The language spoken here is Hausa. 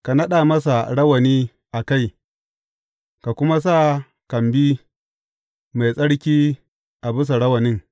Ka naɗa masa rawani a kai, ka kuma sa kambi mai tsarki a bisa rawanin.